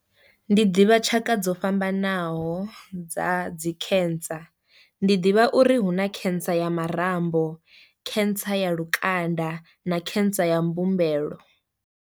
Ndi ḓivha tshaka dzo fhambanaho dza dzi cancer, ndi ḓivha uri hu na cancer ya marambo, cancer ya lukanda na cancer ya mbumbelo.